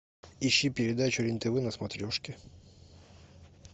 ищи передачу рен тв на смотрешке